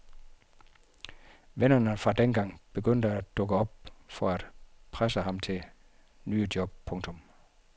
Vennerne fra dengang begynder at dukke op for at presse ham til nye job. punktum